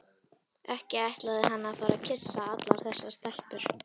Ekki ætlaði hann að fara að kyssa allar þessar stelpur.